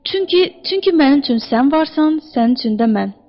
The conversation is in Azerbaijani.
Çünki, çünki mənim üçün sən varsan, sənin üçün də mən.